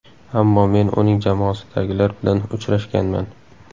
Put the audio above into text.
Ammo men uning jamoasidagilar bilan uchrashganman.